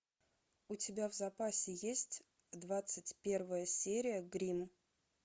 у тебя в запасе есть двадцать первая серия гримм